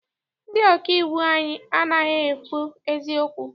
Ndị ọkà iwu anyị anaghị ekwu eziokwu.